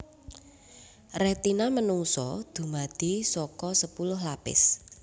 Retina manungsa dumadi saka sepuluh lapis